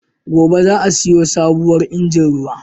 Gobe za'a siyo sabuwar injin ruwa.